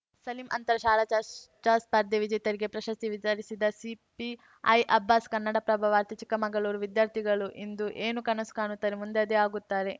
ಸಲೀಂ ಅಂತರ ಶಾಲಾ ಚ ಚರ್ಚಾ ಸ್ಪರ್ಧೆ ವಿಜೇತರಿಗೆ ಪ್ರಶಸ್ತಿ ವಿತರಿಸಿದ ಸಿಪಿಐ ಅಬ್ಬಾಸ್‌ ಕನ್ನಡಪ್ರಭ ವಾರ್ತೆ ಚಿಕ್ಕಮಗಳೂರು ವಿದ್ಯಾರ್ಥಿಗಳು ಇಂದು ಏನು ಕನಸು ಕಾಣುತ್ತಾರೋ ಮುಂದೆ ಅದೇ ಆಗುತ್ತಾರೆ